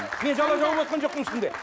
мен жала жауып отырған жоқпын ешкімге